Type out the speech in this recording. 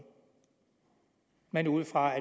men ud fra at